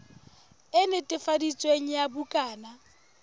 e netefaditsweng ya bukana ya